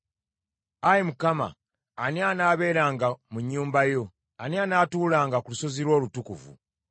Ayi Mukama , ani anaabeeranga mu nnyumba yo? Ani anaatuulanga ku lusozi lwo olutukuvu?